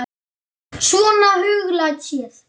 Svona huglægt séð.